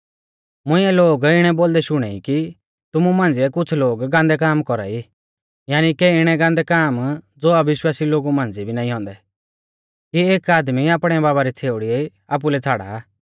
मुंइऐ लोग इणै बोलदै शुणै ई कि तुमु मांझ़िऐ कुछ़ लोग गान्दै काम कौरा ई यानी के इणै गान्दै काम ज़ो अविश्वासी लोगु मांझ़िऐ भी नाईं औन्दै कि एक आदमी आपणै बाबा री छ़ेउड़ी आपुलै छ़ाड़ा